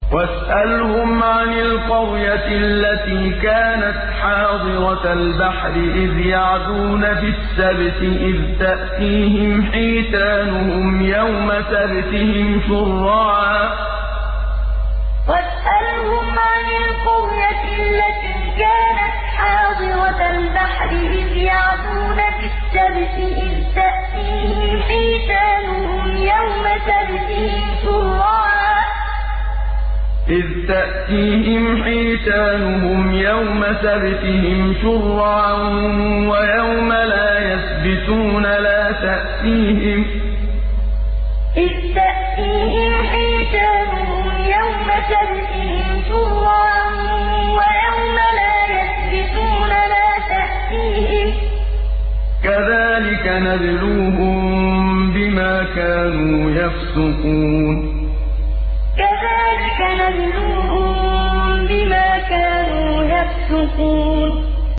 وَاسْأَلْهُمْ عَنِ الْقَرْيَةِ الَّتِي كَانَتْ حَاضِرَةَ الْبَحْرِ إِذْ يَعْدُونَ فِي السَّبْتِ إِذْ تَأْتِيهِمْ حِيتَانُهُمْ يَوْمَ سَبْتِهِمْ شُرَّعًا وَيَوْمَ لَا يَسْبِتُونَ ۙ لَا تَأْتِيهِمْ ۚ كَذَٰلِكَ نَبْلُوهُم بِمَا كَانُوا يَفْسُقُونَ وَاسْأَلْهُمْ عَنِ الْقَرْيَةِ الَّتِي كَانَتْ حَاضِرَةَ الْبَحْرِ إِذْ يَعْدُونَ فِي السَّبْتِ إِذْ تَأْتِيهِمْ حِيتَانُهُمْ يَوْمَ سَبْتِهِمْ شُرَّعًا وَيَوْمَ لَا يَسْبِتُونَ ۙ لَا تَأْتِيهِمْ ۚ كَذَٰلِكَ نَبْلُوهُم بِمَا كَانُوا يَفْسُقُونَ